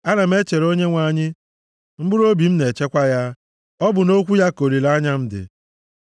Ana m echere Onyenwe anyị, mkpụrụobi m na-echekwa ya, ọ bụ nʼokwu ya ka olileanya m dị.